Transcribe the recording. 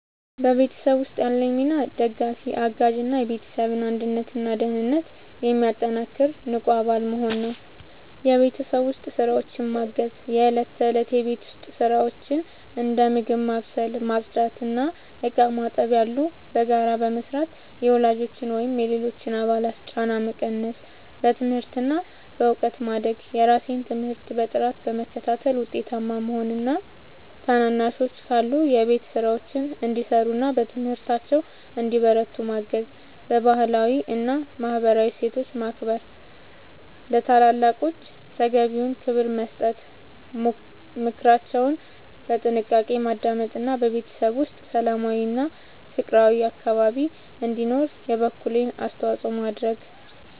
በቤተሰብ ውስጥ ያለኝ ሚና ደጋፊ፣ አጋዥ እና የቤተሰብን አንድነትና ደህንነት የሚያጠናክር ንቁ አባል መሆን ነው። የቤት ውስጥ ስራዎችን ማገዝ፦ የእለት ተእለት የቤት ውስጥ ስራዎችን (እንደ ምግብ ማብሰል፣ ማጽዳት እና ዕቃ ማጠብ ያሉ) በጋራ በመስራት የወላጆችን ወይም የሌሎች አባላትን ጫና መቀነስ። በትምህርት እና በእውቀት ማደግ፦ የራሴን ትምህርት በጥራት በመከታተል ውጤታማ መሆን እና ታናናሾች ካሉ የቤት ስራቸውን እንዲሰሩና በትምህርታቸው እንዲበረቱ ማገዝ። ባህላዊ እና ማህበራዊ እሴቶችን ማክበር፦ ለታላላቆች ተገቢውን ክብር መስጠት፣ ምክራቸውን በጥንቃቄ ማዳመጥ እና በቤተሰብ ውስጥ ሰላማዊና ፍቅራዊ አካባቢ እንዲኖር የበኩሌን አስተዋጽኦ ማድረግ።